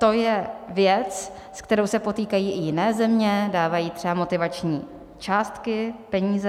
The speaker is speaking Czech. To je věc, s kterou se potýkají i jiné země, dávají třeba motivační částky, peníze.